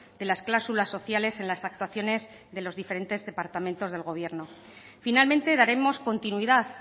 de las cláusulas sociales en las actuaciones de los diferentes departamentos del gobierno finalmente daremos continuidad